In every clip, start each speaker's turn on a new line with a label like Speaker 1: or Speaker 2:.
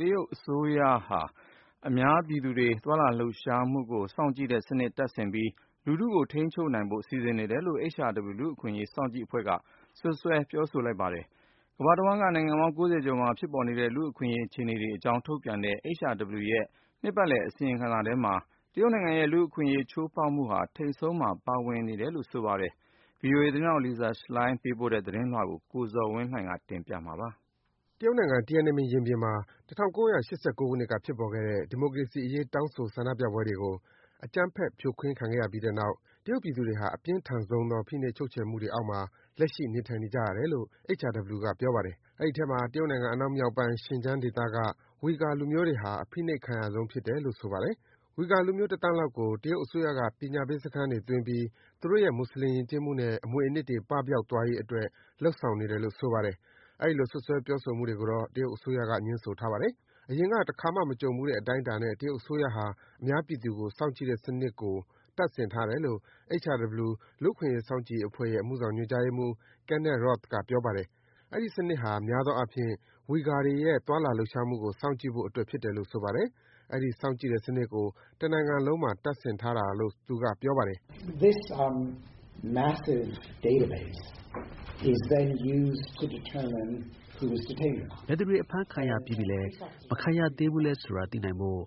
Speaker 1: တရုတ်အစိုးရကဟာ အများပြည်သူတွေ သွားလာလှုပ်ရှားမှုကို စောင့်ကြည့်စနစ်တွေ တပ်ဆင်ပြီး လူထုကို ထိန်းချုပ်နိုင်ဖို့ စီစဉ်နေတယ်လို့ HRW လူ့အခွင့်အရေးစောင့်ကြည့်ရေးအဖွဲ့က စွပ်စွဲ ပြောကြားလိုက်ပါတယ်။ ကမ္ဘာ့တဝှမ်းက နိုင်ငံပေါင်း ၉၀ ကျော်မှာ ဖြစ်ပေါ်နေတဲ့ လူ့အခွင့်အရေးအခြေအနေတွေအကြောင်း ထုတ်ပြန်ထားတဲ့ HRW ရဲ့ နှစ်ပတ်လည် အစီရင်ခံစာထဲမှာ တရုတ်နိုင်ငံရဲ့ လူ့အခွင့်အရေး ချိုးဖောက်မှုတွေဟာ ထိန်ဆုံးကနေ ပါဝင်နေတာပါ။ ဒီအကြောင်း ဗွီအိုအေသတင်းထောက် Lisa Schlein ဂျနီဗာမြို့ကနေ သတင်းပေးပို့ထားတာကိုတော့ ကိုဇော်ဝင်းလှိုင်က တင်ပြပေးမှာပါ။
Speaker 2: တရုတ်နိုင်ငံ၊ Tiananmen ရင်ပြင်မှာ ၁၉၈၉ ခုနှစ်က ဖြစ်ပေါ်ခဲ့တဲ့ ဒီမိုကရေစီအရေး တောင်းဆိုဆန္ဒပြပွဲတွေကို အကြမ်းဖက် ဖြိုခွင်းခံခဲ့ရပြီးတဲ့နောက် တရုတ်ပြည်သူတွေဟာ အပြင်းထန်ဆုံး ဖိနှိပ် ချုပ်ချယ်မှုတွေအောက်မှာ လက်ရှိ နေထိုင်နေကြရတယ်လို့ HRW က ပြောပါတယ်။ အဲဒီအထဲမှာ တရုတ်နိုင်ငံ အနောက်မြောက်ပိုင်း Xianjiang ဒေသက Uighurs လူမျိုးတွေဟာ အဖိနှိပ်ခံရဆုံးဖြစ်တယ်လို့ ဆိုပါတယ်။ Uighurs လူမျိုး တသန်းလောက်ကို တရုတ်အစိုးရက ပညာပေးစခန်းတွေသွင်းပြီး သူတို့ရဲ့ မွတ်ဆလင် ယဉ်ကျေးမှုနဲ့ အမွေအနှစ်တွေ ပပျောက်သွားရေးအတွက် လုပ်ဆောင်နေတယ်လို့ ဆိုပါတယ်။ အဲဒီလို စွပ်စွဲ ပြောဆိုမှုတွေကိုတော့ တရုတ်အစိုးရက ငြင်းဆိုထားပါတယ်။ အရင်က တခါမှမကြုံဘူးတဲ့ အတိုင်းအတာနဲ့ တရုတ်အစိုးရဟာ အများပြည်သူကို စောင့်ကြည့်တဲ့စနစ်ကို တပ်ဆင်ထားတယ်လို့ HRW လူ့အခွင့်အရေးစောင့်ကြည့်ရေးအဖွဲ့ရဲ့ အမှုဆောင်ညွန်ကြားရေးမှူး Kenneth Roth က ပြောပါတယ်။ အဲဒီ စနစ်ဟာ များသောအားဖြင့် Uighurs တွေရဲ့ သွားလာလှုပ်ရှားမှုကို စောင့်ကြည့်ဖို့အတွက်ဖြစ်တယ်လို့ ဆိုပါတယ်။ အဲဒီ စောင့်ကြည့်တဲ့စနစ်ကို တနိုင်ငံလုံးမှာ တပ်ဆင်ထားတာလို့ သူက ပြောပါတယ်။ “ဘယ်သူတွေ အဖမ်းခံရပြီးပြီးလဲ၊
Speaker 3: မခံရသေးဘူးလဲဆိုတာ သိနိုင်ဖို့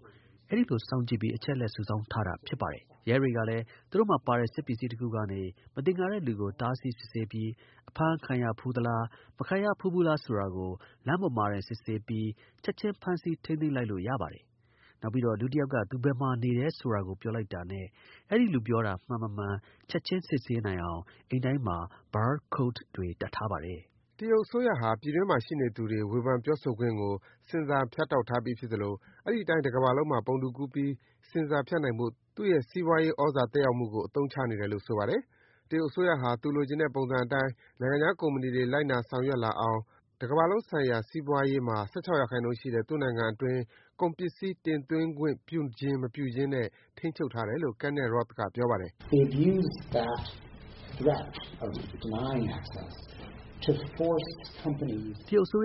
Speaker 3: အဲဒီလို စောင့်ကြည့်ပြီး အချက်အလက်စုဆောင်းထားတာ ဖြစ်ပါတယ်။ ရဲတွေကလည်း သူတို့မှာပါတဲ့ စက်ပစ္စည်းတခုကနေ မသင်္ကာတဲ့သူကို တားဆီး စစ်ဆေးပြီး အဖမ်းခံရဘူးသလား၊ မခံရဖူးဘူးလားဆိုတာကို လမ်းပေါ်မှာတင် စစ်ဆေးပြီး ချက်ချင်း ဖမ်းဆီး ထိန်းသိမ်းလိုက်လို့ ရပါတယ်။ နောက်ပြီးတော့ လူတယောက်က သူဘယ်မှာနေတယ်လို့ ပြောလိုက်တာနဲ့ အဲဒီလူ ပြောတာမှန်မမှန် ချက်ချင်း စစ်ဆေးနိုင်အောင် အိမ်တိုင်းမှာ Bar code တွေ တပ
Speaker 2: ်ထားပါတယ်။” တရုတ်အစိုးရဟာ ပြည်တွင်းမှာရှိနေသူတွေ ဝေဖန်ပြောဆိုခွင့်ကို ဆင်ဆာဖြတ်တောက်ထားပြီးဖြစ်သလို အဲဒီအတိုင်း တကမ္ဘာလုံးမှာ ပုံတူကူးပြီး ဆင်ဆာဖြတ်နိုင်ဖို့ သူ့ရဲ့ စီးပွားရေးသြဇာသက်ရောက်မှုကို အသုံးချနေတယ်လို့ ဆိုပါတယ်။ တရုတ်အစိုးရဟာ သူလိုချင်တဲ့ ပုံစံအတိုင်း နိုင်ငံခြားကုမ္ပဏီတွေ လိုက်နာဆောင်ရွက်လာအောင် တကမ္ဘာလုံးဆိုင်ရာ စီးပွားရေးမှာ ၁၆% ရှိတဲ့ သူ့နိုင်ငံအတွင်း ကုန်ပစ္စည်း တင်သွင်းခွင့် ပြုခြင်း မပြုခြင်းနဲ့ ထိန်းချုပ်ထားတယ်လို့ Kenneth Roth က ပြောပါတယ်။ “တရုတ်အစိ
Speaker 3: ုး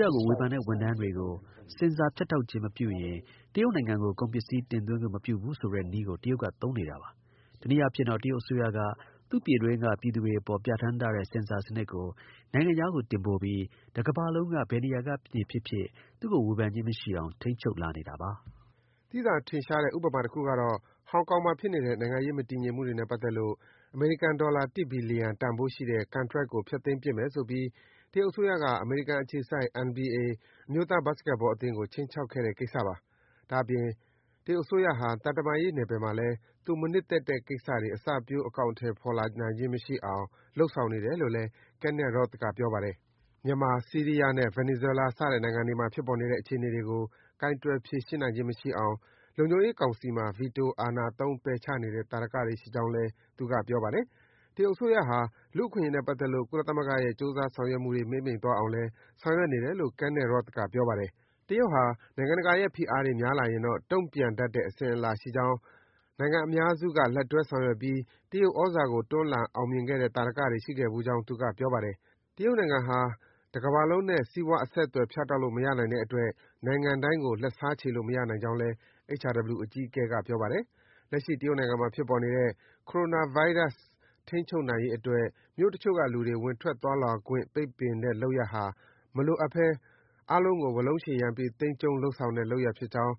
Speaker 3: ရကို ဝေဖန်တဲ့ဝန်ထမ်းတွေကို ဆင်ဆာဖြတ်တောက်ခြင်းမပြုရင် တရုတ်နိုင်ငံကို ကုန်ပစ္စည်း တင်သွင်းခွင့်မပြုဘူးဆိုတဲ့နည်းကို တရုတ်က သုံးနေတာပါ။ တနည်းအားဖြင့်တော့ တရုတ်အစိုးရဟာ သူ့ပြည်တွင်းက ပြည်သူတွေအပေါ် ပြဌာန်းထားတဲ့ ဆင်ဆာစနစ်ကို နိုင်ငံခြားတင်ပို့ပြီး တကမ္ဘာလုံးက ဘယ်နေရာနေဖြစ်ဖြစ် သူ့ကို ဝေဖန်ခြင်းမရှိအောင် ထိန်းချုပ်လာနေတာပါ။
Speaker 2: ” သိသာထင်ရှားတဲ့ ဥပမာတခုကတော့ - ဟောင်ကောင်မှာဖြစ်နေတဲ့ နိုင်ငံရေးမတည်ငြိမ်မှုတွေနဲ့ပတ်သက်လို့ အမေရိကန်ဒေါ်လာ တစ်ဘီလီယံ တန်ဖိုးရှိတဲ့ ကန်ထရိုက်ကို ဖျက်သိမ်းပစ်မယ်ဆိုပြီး တရုတ်အစိုးရက အမေရိကန်အခြေစိုက် NBA အမျိုးသား ဘတ်စ်ကက်ဘောအသင်းကို ခြိမ်းခြောက်ခဲ့တဲ့ ကိစ္စပါ။ ဒါ့အပြင် တရုတ်အစိုးရဟာ သံတမန်ရေးနယ်ပယ်မှာလည်း သူမနှစ်သက်တဲ့ကိစ္စတွေ အစပျိုး အကောင်အထည်ဖော်နိုင်ခြင်း မရှိအောင် လုပ်ဆောင်နေတယ်လို့လည်း Kenneth Roth က ပြောပါတယ်။ မြန်မာ၊ ဆီးရီးယားနဲ့ ဗင်နီဇွဲလား စတဲ့နိုင်ငံတွေ ဖြစ်ပေါ်နေတဲ့ အခြေအနေတွေကို ကိုင်တွယ်ဖြေရှင်းနိုင်ခြင်းမရှိအောင် လုံခြုံရေးကောင်စီမှာ ဗီတိုအာဏာသုံး ပယ်ချနေတဲ့ သာဓကတွေ ရှိကြောင်းလည်း သူက ပြောပါတယ်။ တရုတ်အစိုးရဟာ လူ့အခွင့်အရေးနဲ့ပတ်သက်လို့ ကုလသမဂ္ဂရဲ့ ကြိုးစား ဆောင်ရွက်မှုတွေ မှေးမှိန်သွားအောင်လည်း ဆောင်ရွက်နေတယ်လို့ Kenneth Roth က စွပ်စွဲ ပြောဆိုပါတယ်။ တရုတ်ဟာ နိုင်ငံတကာရဲ့ဖိအားတွေများလာရင်တော့ တုံ့ပြန်တတ်တဲ့ အစဉ်အလာ ရှိကြောင်း၊ နိုင်ငံအများစုက လက်တွဲ ဆောင်ရွက်ပြီး တရုတ်သြဇာကို တွန်းလှန် အောင်မြင်ခဲ့တဲ့ သာဓကတွေ ရှိခဲ့ဘူးကြောင်း သူက ပြောပါတယ်။ တရုတ်နိုင်ငံဟာ တကမ္ဘာလုံးနဲ့ စီးပွားအဆက်အသွယ် ဖြတ်တောက်လို့မရနိုင်တဲ့အတွက် နိုင်ငံတိုင်းကို လက်စားခြေလို့ မရနိုင်ကြောင်းလည်း HRW အကြီးအကဲက ပြောပါတယ်။ လက်ရှိ တရုတ်နိုင်ငံမှာ ဖြစ်ပေါ်နေတဲ့ Coronavirus ထိန်းချုပ်နိုင်ရေးအတွက် မြို့တချို့ကလူတွေ ဝင်ထွက် သွားလာခွင့် ပိတ်ပင်ထားတဲ့ လုပ်ရပ်ဟာ မလိုအပ်ဘဲ အားလုံးကို ဝါးလုံးရှည်ရမ်းပြီး သိမ်းကျုံးလုပ်ဆောင်တဲ့ လုပ်ရပ်ဖြစ်ကြောင်း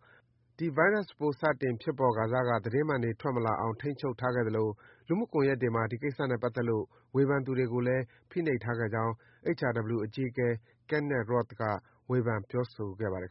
Speaker 2: ၊ ဒီ ဗိုင်းရပ်စ်ပိုး စတင်ဖြစ်ပေါ်ခါစက သတင်းမှန်တွေ ထွက်မလာအောင် ထိန်းချုပ်ထားခဲ့သလို လူမှုကွန်ယက်တွေမှာ ဒီကိစ္စနဲ့ပတ်သက်လို့ ဝေဖန်သူတွေကိုလည်း ဖိနှိပ်ထားခဲ့ကြောင်း HRW အကြီးအကဲ Kenneth Roth က ဝေဖန် ပြောဆိုခဲ့ပါတယ်